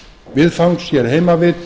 viðfangs hér heima við